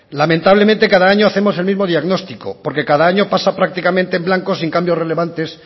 lamentablemente cada año hacemos el mismo diagnóstico porque cada año pasa prácticamente en blanco sin cambios relevantes